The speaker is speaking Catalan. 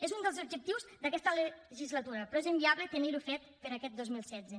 és un dels objectius d’aquesta legislatura però és inviable tenir ho fet per a aquest dos mil setze